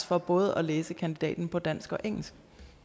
for både at læse kandidaten på dansk og engelsk